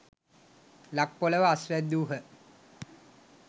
ලක් පොළොව අස්වැද්‍දූහ.